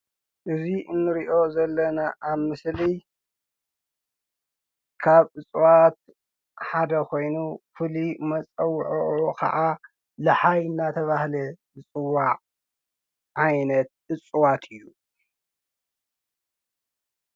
እዚ እንሪኦ ዘለና ኣብ ምስሊ ካብ እፅዋት ሓደ ኾይኑ ፍሉይ መፀዉዒኡ ካዓ ልሓይ እናተብሃለ ዝፅዋዕ ዓይነት እፅዋት እዩ።